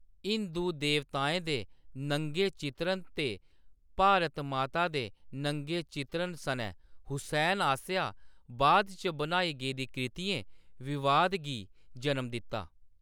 हिंदू देवताएं दे नंगे चित्रण ते भारत माता दे नंगे चित्रण सनै हुसैन आसेआ बाद इच बनाई गेदी कृतियें विवाद गी जनम दित्ता।